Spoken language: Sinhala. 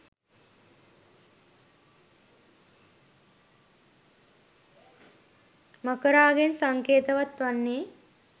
මකරාගෙන් සංකේතවත් වන්නේ